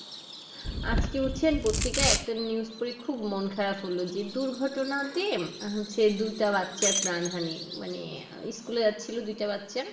আজকে হচ্ছেন প্রত্রিকায় একটা News পরে খুব মন খারাপ হলো যে দুর্ঘটনাতে উম যে দুইটা বাচ্ছার প্রাণ হানি মানে আহ School এ যাচ্ছিলো দুইটা বাচ্ছা